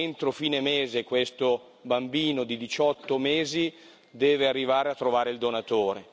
Entro fine mese, questo bambino di 18 mesi deve arrivare a trovare il donatore.